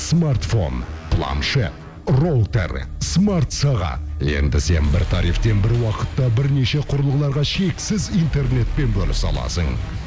смартфон планшет роутер смарт сағат енді сен бір тарифтен бір уақытта бір неше құрылғыларға шексіз интернетпен бөлісе аласың